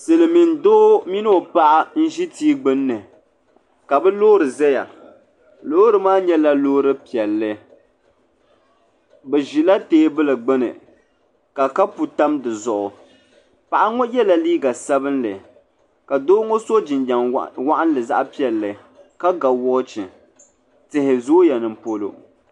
Silimiin doo mini o paɣa ʒi tia gbinni ka bɛ loori zaya loori maa nyɛla loori piɛlli bɛ ʒila teebuli gbini ka kapu tam di zuɣu paɣa ŋɔ yela liiga sabinli ka doo ŋɔ so jiniɛm waɣinli piɛli ka ga woochi tihi zooya ninpolo.